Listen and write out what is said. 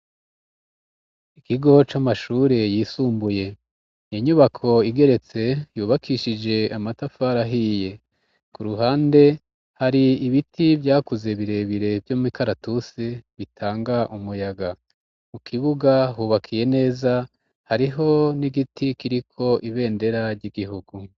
Ikigo c' amashure yisumbuye iinyubako igeretse yubakishije amatafarahiye ku ruhande hari ibiti vyakuze birebire vyo mw'ikaratuse bitanga umuyaga mu kibuga hubakiye neza hariho n'igiti kiriko ibenda berarya igihuku.